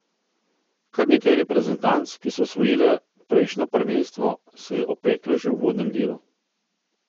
Kar nekaj reprezentanc, ki so osvojile prejšnjo prvenstvo, se je opeklo že v uvodnem delu.